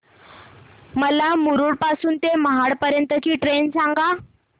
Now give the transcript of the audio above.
मला मुरुड पासून तर महाड पर्यंत ची ट्रेन सांगा